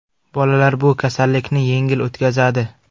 Bolalar bu kasallikni yengil o‘tkazadi.